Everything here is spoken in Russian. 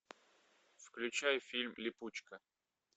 включай фильм липучка